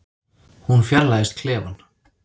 Hún fjarlægist klefann.